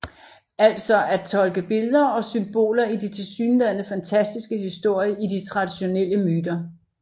Altså at tolke billeder og symboler i de tilsyneladende fantastiske historier i de traditionelle myter